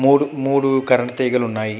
మూడు మూడు కరెంటు తీగలు ఉన్నాయ్.